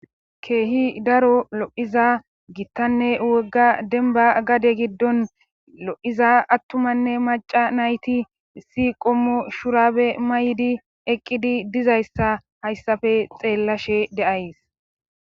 keehi daro lo7iza gittanne wogga denba gade giddon lo7iza attumanne maca nayti si qommo shurabe maydi eqqidi dizayssa hayssafe xeellashe deays